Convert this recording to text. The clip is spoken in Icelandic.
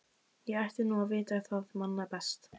Ég ætti nú að vita það manna best.